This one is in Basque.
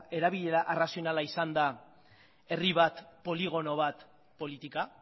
erabilera arrazionala izan da herri bat poligono bat politika